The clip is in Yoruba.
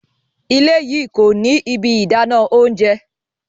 Ìlẹ̀ yìí kòní ibi ìdánà ọ̀unṣẹ.